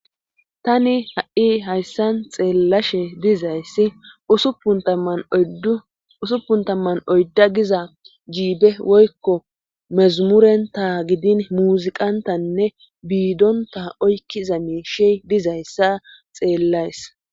Tani ha7i hayssan xeellashe dizayssi usuppun tamman oydda giza jiibe woykko mezamurenta gidin muziqantanne biidonta oykkiza miishey dizayssa xeellays